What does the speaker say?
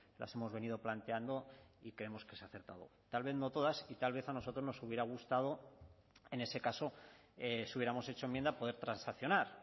las hemos venido planteando y creemos que es acertado tal vez no todas y tal vez a nosotros nos hubiera gustado en ese caso si hubiéramos hecho enmienda poder transaccionar